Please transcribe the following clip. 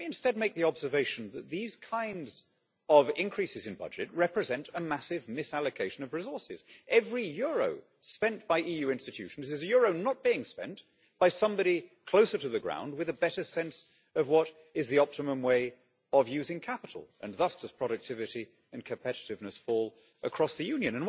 Let me, instead, make the observation that these kinds of increases in budget represent a massive misallocation of resources. Every euro spent by EU institutions is a euro not being spent by somebody closer to the ground, with a better sense of what is the optimum way of using capital and thus does productivity and competitiveness fall across the Union.